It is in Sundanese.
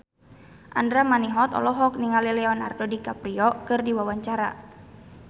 Andra Manihot olohok ningali Leonardo DiCaprio keur diwawancara